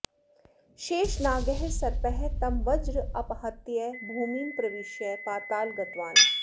शेषनागः सर्पः तं वज्र अपहत्य भूमिं प्रविश्य पाताल गतवान्